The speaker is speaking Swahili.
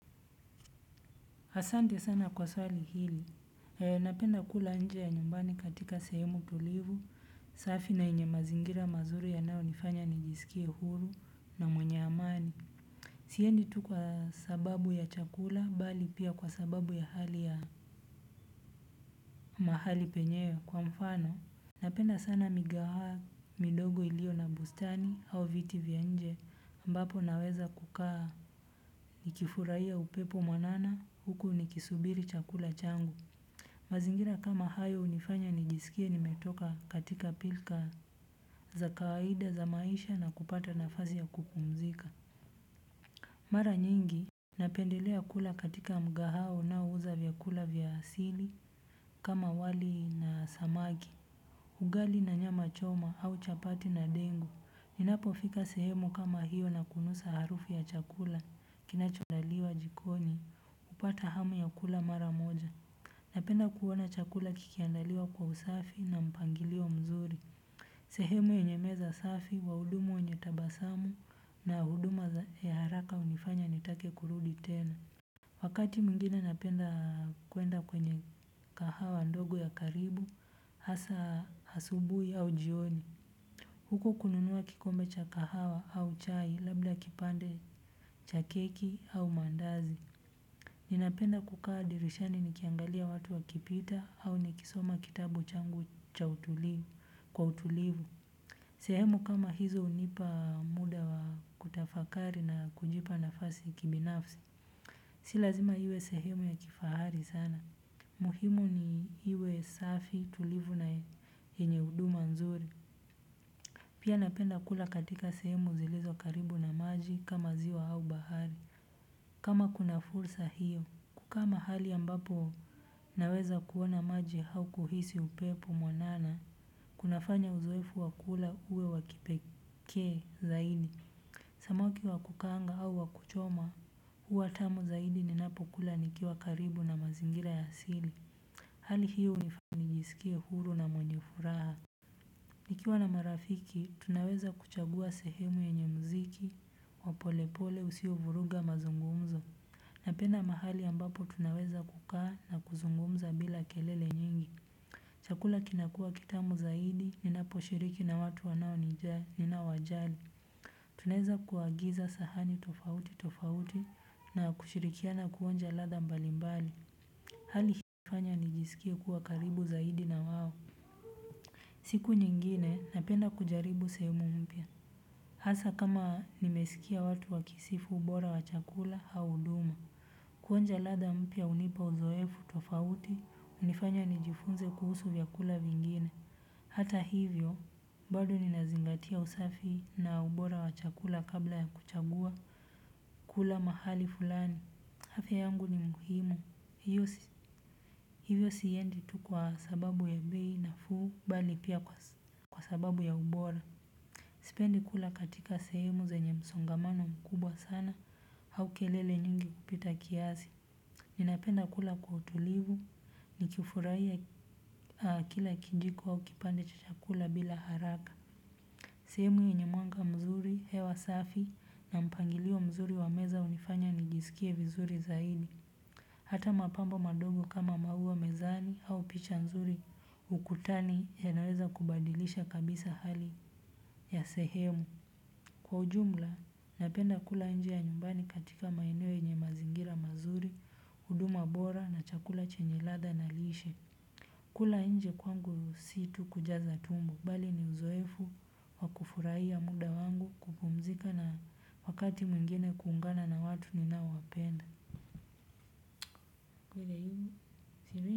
Hasante sana kwa swali hili, napenda kula nje ya nyumbani katika sehemu tulivu, safi na yenye mazingira mazuri ya nayo nifanya nijisikie huru na mwenye amani. Siendi tu kwa sababu ya chakula, bali pia kwa sababu ya hali ya mahali penyewe kwa mfano. Napenda sana migaha midogo ilio na bustani au vitivya nje ambapo naweza kukaa nikifurai ya upepo mwanana huku nikisubiri chakula changu. Mazingira kama hayo unifanya nijisikie nimetoka katika pilka za kawaida za maisha na kupata nafasi ya kupumzika. Mara nyingi napendelea kula katika mgahawa unaouza vyakula vyasili kama wali na samaki ugali na nyama choma au chapati na dengu ninapo fika sehemu kama hiyo na kunusa harufu ya chakula kinachoandaliwa jikoni hupata hamu ya kula mara moja. Napenda kuona chakula kikiandaliwa kwa usafi na mpangilio mzuri. Sehemu yenye meza safi, waudumu wenye tabasamu na huduma ya haraka unifanya nitake kurudi tena. Wakati mwingine napenda kuenda kwenye kahawa ndogo ya karibu, hasa hasubui au jioni. Huko kununua kikombe cha kahawa au chai labda kipande cha keki au mandazi. Ninapenda kukaa dirishani nikiangalia watu wa kipita au nikisoma kitabu changu cha utulivu. Sehemu kama hizo unipa muda wa kutafakari na kujipa nafasi kibinafsi. Si lazima iwe sehemu ya kifahari sana. Muhimu ni iwe safi tulivu na enyeudu manzuri. Pia napenda kula katika sehemu zilizo karibu na maji kama ziwa au bahari. Kama kuna fursa hiyo. Kukaama hali ambapo naweza kuona maji hau kuhisi upepo mwanana. Kunafanya uzoefu wakula uwe wakipeke zaidi. Samoki wakukaanga au wakuchoma. Uwatamu zaidi ninapo kula nikiwa karibu na mazingira ya asili. Hali hiyo unifanijisikie huru na mwenye furaha. Nikiwa na marafiki tunaweza kuchagua sehemu ye nyemuziki wapolepole usio vuruga mazungumzo. Napena mahali ambapo tunaweza kukaa na kuzungumza bila kelele nyingi. Chakula kinakua kitamu zaidi, ninaposhiriki na watu wanao nijaa, ninawajali. Tunaeza kuagiza sahani tofauti tofauti na kushirikiana kuonja ladha mbalimbali hali hii hunifanya nijiskie siku nyingine, napenda kujaribu sehemu mpya. Hasa kama nimesikia watu wakisifu ubora wa chakula hauduma. Kuonja ladha mpya unipa uzoefu tofauti, unifanya nijifunze kuhusu vya kula vingine. Hata hivyo, bado ninazingatia usafi na ubora wa chakula kabla ya kuchagua. Kula mahali fulani, hafya yangu ni muhimu. Hivyo siyendi tukwa sababu ya bi na fuu, bali pia kwa sababu ya ubora. Sipendi kula katika sehemu ze nye msongamano mkubwa sana au kelele nyingi kupita kiasi ninapenda kula kwa utulivu nikifurahia kila kijiko kipande cha chakula bila haraka. Sehemu yenye mwanga mzuri hewa safi na mpangilio mzuri wa meza unifanya nijisikie vizuri zaidi. Hata mapambo madogo kama maua mezani au picha mzuri ukutani ya naweza kubadilisha kabisa hali ya sehemu. Kwa ujumla, napenda kula nje ya nyumbani katika maeneo yenye mazingira mazuri, uduma bora na chakula chenyeladha na lishe. Kula nje kwangu situ kujaza tumbo, bali ni uzoefu wakufuraiya muda wangu kukumzika na wakati mwingine kuungana na watu ninao wapenda.